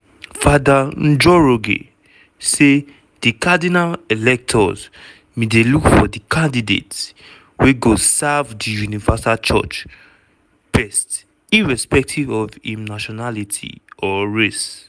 fr njoroge say di cardinal electors bin dey look for " candidate wey go serve di universal church best irrespective of im nationality or race".